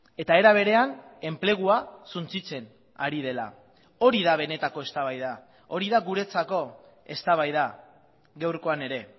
eta era berean enplegua suntsitzen ari dela hori da benetako eztabaida hori da guretzako eztabaida gaurkoan ere